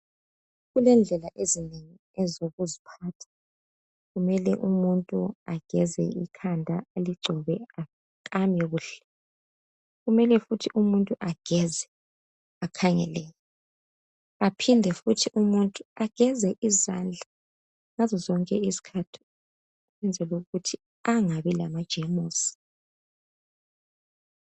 Kulendlela ezinengi ezokuziphatha kumele umuntu ageze ikhanda aligcobe akame kuhle, kumele futhi ageze umuntu ageze akhangeleke aphinde futhi ageze izandla ngazozonke izikhathi ukuze angabi lama jemusi